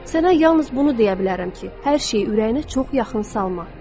Sənə yalnız bunu deyə bilərəm ki, hər şeyi ürəyinə çox yaxın salma.